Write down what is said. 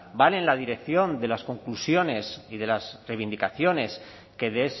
van en la dirección de las conclusiones y de las reivindicaciones que de